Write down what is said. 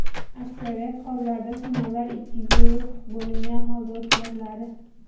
Aksariyat hollarda sinovlar ikki guruh bo‘lingan holda o‘tkaziladi.